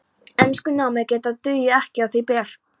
Enskunámið góða dugði ekki á þau ber.